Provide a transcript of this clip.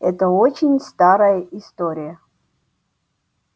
это очень старая история